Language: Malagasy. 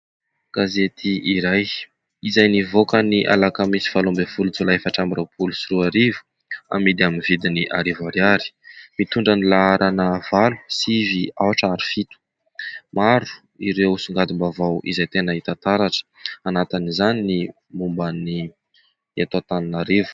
Gazety iray izay nivoaka ny Alakamisy valo ambin'ny folo Jolay efatra amby roapolo sy roa arivo, amidy amin'ny vidiny arivo ariary ; mitondra ny laharana : valo, sivy, aotra ary fito. Maro ireo songadim-bavao izay tena hita taratra, anatin'izany ny momban'ny eto Antananarivo.